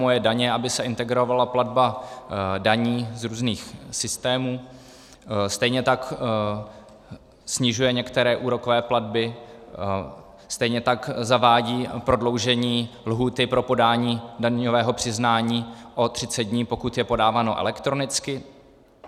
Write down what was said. Moje daně, aby se integrovala platba daní z různých systémů, stejně tak snižuje některé úrokové platby, stejně tak zavádí prodloužení lhůty pro podání daňového přiznání o 30 dní, pokud je podáváno elektronicky.